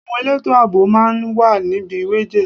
Àwọn elétò àbò máa wà níbi wejee.